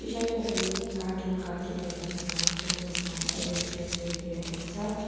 चाहिँ तपाईँले cartoon cartoon देख्न सक्नुहुन्छ जसमा एभेन्जर्स लेखिरहेको छ।